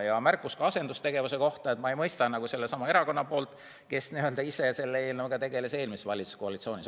Oli ka märkus asendustegevuse kohta sellesama erakonna poolt, kes ka ise selle eelnõuga tegeles eelmises valitsuskoalitsioonis.